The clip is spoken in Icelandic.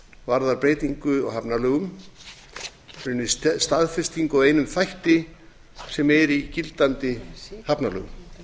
varðar breytingu á hafnalögum raunar staðfestingu á einum þætti sem er í gildandi hafnalögum